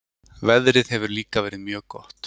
Veðrið hefur líka verið mjög gott